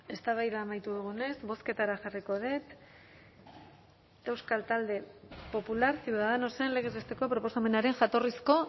eztabaida amaitu dugunez bozketara jarriko dut euskal talde popular ciudadanosen legez besteko proposamenaren jatorrizko